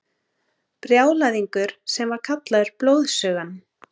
Brjálæðingur sem var kallaður Blóðsugan.